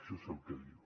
això és el que diu